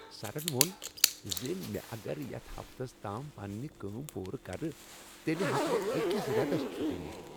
سرن ووٚن زِ مےٚ اگر بہٕ یتھ ہفتس تام پننہِ کٲم پوٗرٕ کرٕ تیٚلہ ہٮ۪کہٕ بہٕ أکس رٮ۪تس چھٹی نتھ ۔